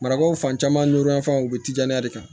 Marakaw fan caman nɔrɔ yan fan u bɛ tija de kan